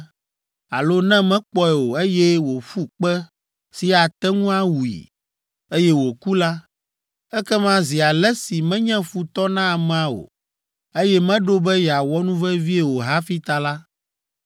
alo ne mekpɔe o, eye wòƒu kpe si ate ŋu awui, eye wòku la, ekema zi ale si menye futɔ na amea o, eye meɖo be yeawɔ nuvevie o hafi ta la,